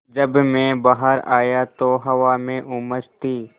जब मैं बाहर आया तो हवा में उमस थी